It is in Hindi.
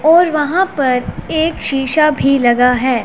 और वहां पर एक शीशा भी लगा है।